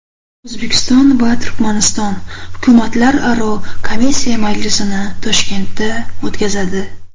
O‘zbekiston va Turkmaniston hukumatlararo komissiya majlisini Toshkentda o‘tkazadi.